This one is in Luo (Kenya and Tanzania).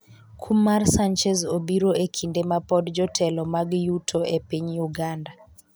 kum mar Sanchez obiro e kinde ma pod jotelo mag yuto e piny uganda